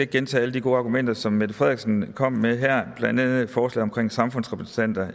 gentage alle de gode argumenter som mette frederiksen kom med her blandt andet et forslag om samfundsrepræsentanter